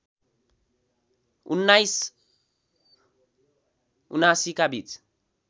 १९७९ का बीच